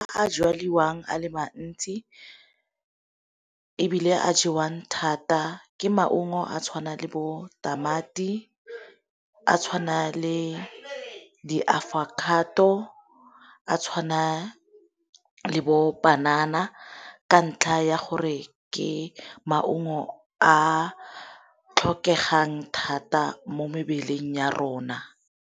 A jaliwang a le mantsi ebile a jewang thata ke maungo a tshwana le bo tamati, a tshwana le di-avocado, a tshwana le bo panana ka ntlha ya gore ke maungo a tlhokegang thata mo mebeleng ya rona.